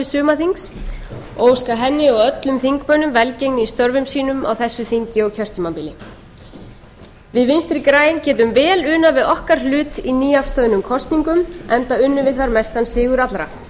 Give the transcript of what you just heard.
sumarþings og óska henni og öllum þingmönnum velgengni í störfum sínum á þessu þingi og kjörtímabili við vinstri græn getum vel unað við okkar hlut í nýafstöðnum kosningum enda unnum við þar mestan sigur allra